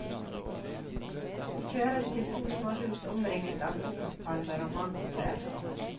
Vi kjøres til to små hus omringet av kokospalmer og mangotrær.